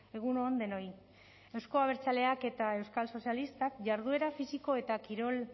egun on denoi euzko abertzaleak eta euskal sozialistak jarduera fisiko eta kirol